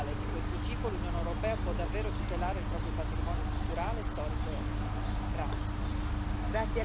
Solo con un progetto globale di questo tipo l'Unione europea può davvero tutelare il proprio patrimonio culturale, storico e artistico.